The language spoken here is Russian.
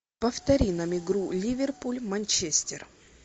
повтори нам игру ливерпуль манчестер